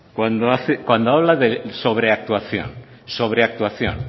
cuando habla de sobreactuación